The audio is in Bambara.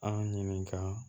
An ɲininka